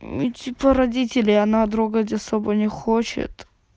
ну типа родители она трогать особо не хочет